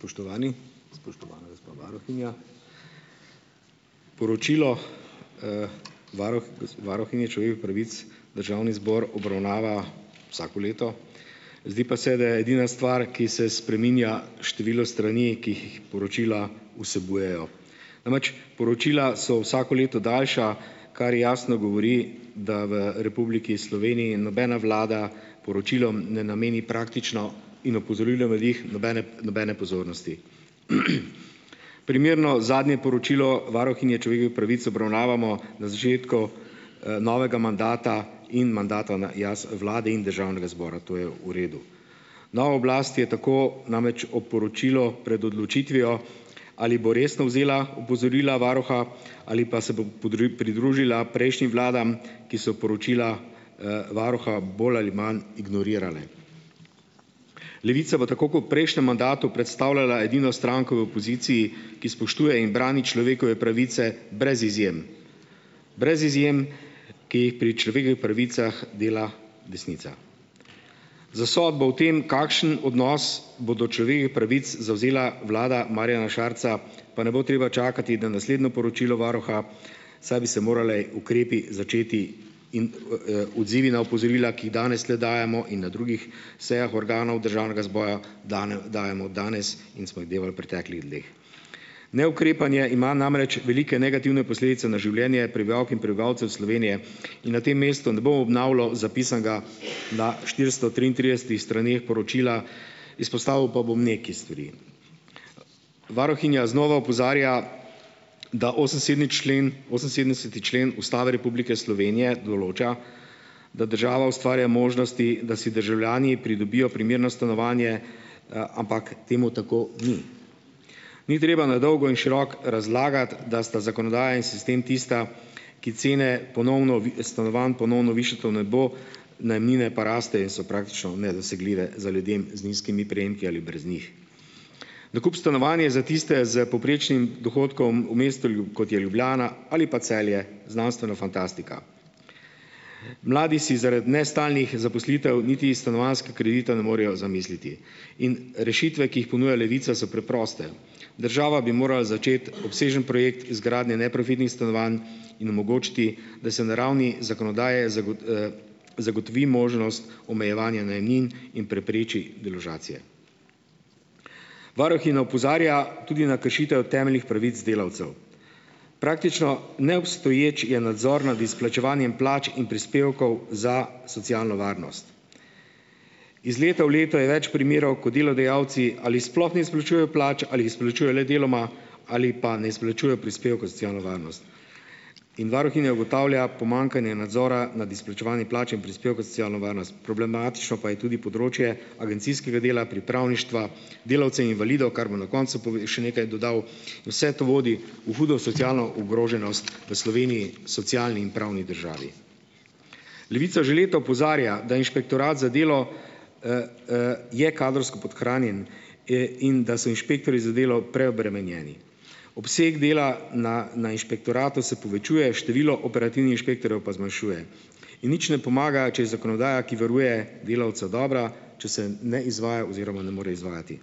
Spoštovani, spoštovana gospa varuhinja. Poročilo varuh varuhinje človekovih pravic Državni zbor obravnava vsako leto. Zdi pa se, da je edina stvar, ki se spreminja število strani, ki jih poročila vsebujejo. Namreč, poročila so vsako leto daljša, kar jasno govori, da v Republiki Sloveniji nobena vlada poročilom ne nameni praktično, in opozorilo v njih, nobene nobene pozornosti. Primerno zadnje poročilo varuhinje človekovih pravic obravnavamo na začetku novega mandata in mandata na jaz vladi in Državnega zbora, to je v redu. Nova oblast je tako namreč ob poročilo pred odločitvijo, ali bo resno vzela opozorila varuha, ali pa se bo pridružila prejšnjim vladam, ki so poročila varuha bolj ali manj ignorirale. Levica bo tako kot v prejšnjem mandatu predstavljala edino stranko v opoziciji, ki spoštuje in brani človekove pravice brez izjem. Brez izjem, ki jih pri človekovih pravicah dela desnica. Za sodbo o tem, kakšen odnos bo do pravic zavzela vlada Marjana Šarca, pa ne bo treba čakati na naslednjo poročilo varuha, saj bi se morali ukrepi začeti, in odzivi na opozorila, ki jih danes tule dajemo, in na drugih sejah organov Državnega zbora, dene dajemo danes in smo jih dajali v preteklih dneh. Neukrepanje ima namreč velike negativne posledice na življenje prebivalk in prebivalcev Slovenije in na tem mestu ne bom obnavljal zapisanega na štiristo triintridesetih straneh poročila. Izpostavil pa bom nekaj stvari. Varuhinja znova opozarja, da osem sedmi člen oseminsedemdeseti člen Ustave Republike Slovenije določa, da država ustvarja možnosti, da si državljani pridobijo primerno stanovanje, ampak temu tako ni. Ni treba na dolgo in široko razlagati, da sta zakonodaja in sistem tista, ki cene ponovno vi stanovanj ponovno višata v nebo, najemnine pa rastejo in so praktično nedosegljive za ljudem z nizkimi prejemki ali brez njih. Nakup stanovanja je za tiste s povprečnim dohodkom v mestu kot je Ljubljana ali pa Celje, znanstvena fantastika. Mladi si zaradi nestalnih zaposlitev niti stanovanjske kredita ne morejo zamisliti in rešitve, ki jih ponuja Levica so preproste. Država bi morala začeti obsežen projekt izgradnje neprofitnih stanovanj in omogočiti, da se na ravni zakonodaje zagotovi možnost omejevanja najemnin in prepreči deložacije. Varuhinja opozarja tudi na kršitev temeljnih pravic delavcev. Praktično neobstoječ je nadzor nad izplačevanjem plač in prispevkov za socialno varnost. Iz leta v leto je več primerov, ko delodajalci ali sploh ne izplačujejo plač ali jih izplačuje le deloma, ali pa ne izplačujejo prispevkov za socialno varnost. In varuhinja ugotavlja pomanjkanje nadzora nad izplačevanjem plač in prispevkov za socialno varnost. Problematično pa je tudi področje agencijskega dela, pripravništva, delavcev invalidov, kar bom na koncu še nekaj dodal. Vse to vodi v hudo socialno ogroženost v Sloveniji, socialni in pravni državi. Levica že leta opozarja, da Inšpektorat za delo je kadrovsko podhranjen e in da so inšpektorji za delo preobremenjeni. Obseg dela na na inšpektoratu se povečuje, število operativnih inšpektorjev pa zmanjšuje in nič ne pomaga, če je zakonodaja, ki varuje delavca, dobra, če se ne izvaja oziroma ne more izvajati.